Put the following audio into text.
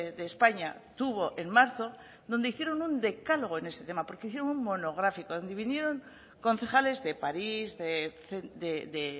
de españa tuvo en marzo donde hicieron un decálogo en ese tema porque hicieron un monográfico donde vinieron concejales de parís de